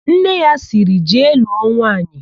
Nne ya sịrị, "jee lụọ nwaanyị"!